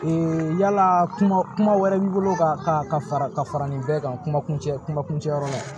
yala kuma wɛrɛ b'i bolo ka fara ka fara nin bɛɛ kan kuma kuncɛ kuma kuncɛ yɔrɔ la